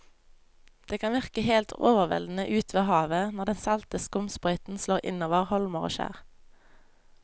Det kan virke helt overveldende ute ved havet når den salte skumsprøyten slår innover holmer og skjær.